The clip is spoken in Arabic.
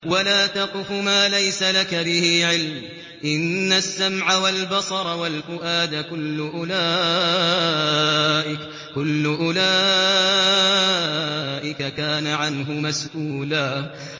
وَلَا تَقْفُ مَا لَيْسَ لَكَ بِهِ عِلْمٌ ۚ إِنَّ السَّمْعَ وَالْبَصَرَ وَالْفُؤَادَ كُلُّ أُولَٰئِكَ كَانَ عَنْهُ مَسْئُولًا